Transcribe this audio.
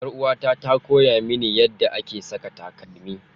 Yar'uwata ta koya mini yadda ake saka takalmi.